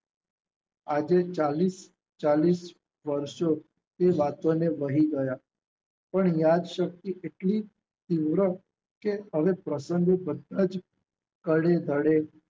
આજે ચાલીશ ચાલીસ વર્ષો એ બાબતને વહી ગયા પણ યાદશક્તિ એટલી તીવ્ર કે હવે પ્રસંગ બધા જ